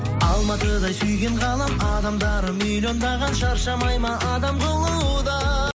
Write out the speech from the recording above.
алматыдай сүйген қалам адамдары миллиондаған шаршамай ма адам қылуда